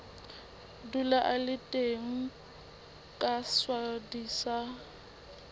dula a le teng kaswadi ba